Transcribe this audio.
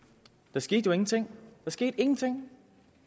der skete jo ingenting der skete ingenting